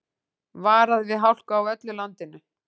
Varað við hálku á öllu landinu